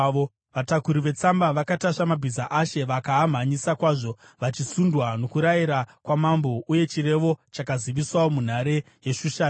Vatakuri vetsamba vakatasva mabhiza ashe vakaamhanyisa kwazvo, vachisundwa nokurayira kwamambo. Uye chirevo chakaziviswawo munhare yeShushani.